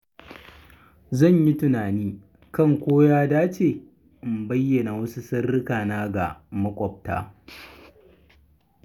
Zan yi tunani kan ko ya dace in bayyana wasu sirrika na ga maƙwabta.